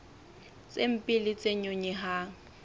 tse mpe le tse nyonyehang